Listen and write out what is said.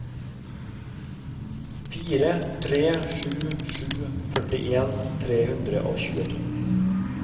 fire tre sju sju førtien tre hundre og tjueto